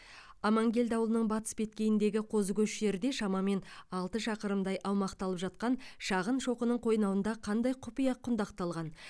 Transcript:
амангелді ауылының батыс беткейіндегі қозыкөш жерде шамамен алты шақырымдай аумақты алып жатқан шағын шоқының қойнауында қандай құпия құндақталған